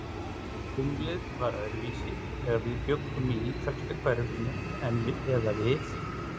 Tunglið var öðruvísi, þegar við bjuggum í ítalska hverfinu eða við